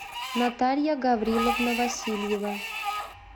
наталья гавриловна васильева